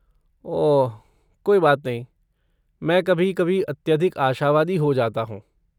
ओह कोई बात नहीं! मैं कभी कभी अत्यधिक आशावादी हो जाता हूँ।